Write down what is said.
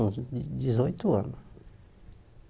Uns dezoito anos